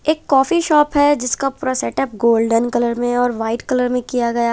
एक coffee shop है जिसका पूरा सेटअप गोल्डन कलर में है और वाइट कलर में किया गया--